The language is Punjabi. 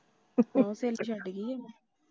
ਲੱਗਦਾ ਸਹੇਲੀ ਛੱਡ ਗਈ ਏ।